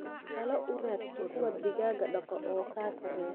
Taloo uu radso kuwaa digaaga daqdho oo kaa sareeya.